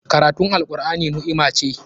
Karatun Al'Qur'ani ni'ima ce.